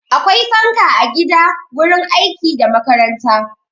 Akwai fanka a gida, wurin aiki da makaranta.